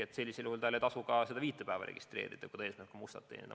Tal ei tasu ka seda viite päeva registreerida, kui ta eesmärk on mustalt teenida.